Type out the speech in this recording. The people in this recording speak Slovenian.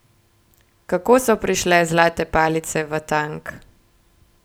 Kako so prišle zlate palice v tank?